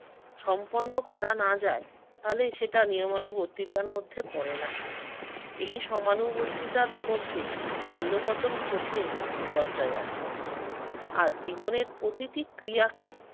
সম্পন্ন করা না যায় তাহলে সেটা নিয়মানুবর্তিতার মধ্যে পড়ে না। এই সমানুবর্তিতার মধ্যে ছন্দপতন ঘটলে বিপর্যয় আসে। আর জীবনের প্রতিটি ক্রিয়াকে